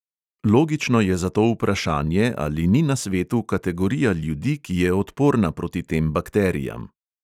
Logično je zato vprašanje, ali ni na svetu kategorija ljudi, ki je odporna proti tem bakterijam.